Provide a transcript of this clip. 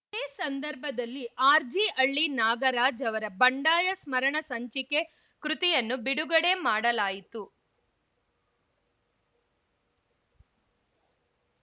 ಇದೇ ಸಂದರ್ಭದಲ್ಲಿ ಆರ್‌ಜಿ ಹಳ್ಳಿ ನಾಗರಾಜ್‌ ಅವರ ಬಂಡಾಯ ಸ್ಮರಣ ಸಂಚಿಕೆ ಕೃತಿಯನ್ನು ಬಿಡುಗಡೆ ಮಾಡಲಾಯಿತು